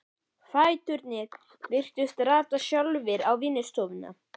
Fæturnir virtust rata sjálfir á vinnustofuna.